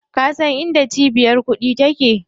Ka san inda cibiyar kuɗi take?